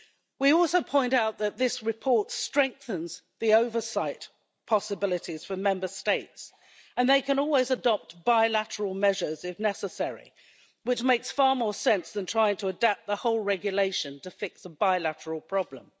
We also point out that this report strengthens the oversight possibilities for Member States and they can always adopt bilateral measures if necessary, which makes far more sense than trying to adapt the whole regulation to fix a bilateral problem.